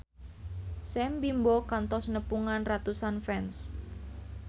Sam Bimbo kantos nepungan ratusan fans